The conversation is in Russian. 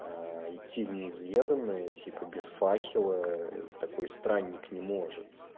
а идти в неизведанное типа без факела ээ такой странник не может